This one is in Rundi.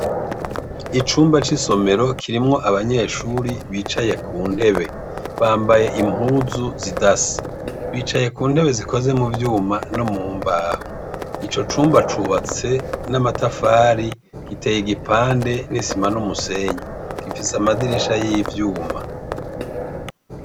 Icumba c'isomero kirimwo abanyeshure bicaye ku ntebe. Bambaye impuzu zidasa. Bicaye ku ntebe zikoze mu vyuma no mu mbaho. Ico cumba cubatse n'amatafari, giteye igipande n'isima n'umusenyi, gifise amadirisha y'ivyuma.